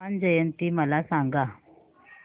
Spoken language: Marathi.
हनुमान जयंती मला सांगा